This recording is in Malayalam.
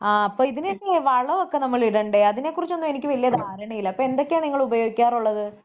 ആഹ് അപ്പം ഇതിനൊക്കെയെ വളമൊക്കെ നമ്മളിടണ്ടേ അതിനെ കുറിച്ചോന്നും എനിക്ക് വലിയ ധാരണയില്ല.പ്പം എന്തൊക്കെയാ നിങ്ങൾ ഉപയോഗിക്കാറുള്ളത്?